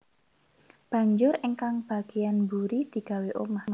Banjur ingkang bagéyan mburi digawé omah